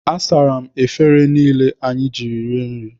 Asara m efere niile anyị jiri rie nri.